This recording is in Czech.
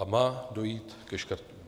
A má dojít ke škrtům.